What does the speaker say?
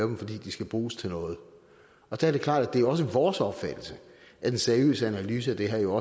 dem fordi de skal bruges til noget og det er klart at det også er vores opfattelse at en seriøs analyse af det her jo